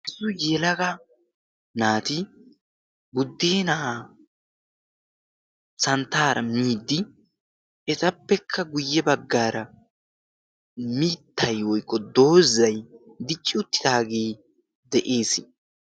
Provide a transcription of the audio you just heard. issi yelaga naati buddi na'aa santtaara biddi etappekka guyye baggaara miittay oyqqo doozay dicci uttitaagee de'ees